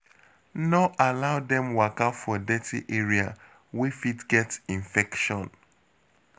No allow dem waka for dirty area wey fit get infection